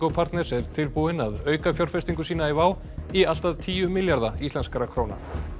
partners er tilbúinn að auka fjárfestingu sína í WOW í allt að tíu milljarða íslenskra króna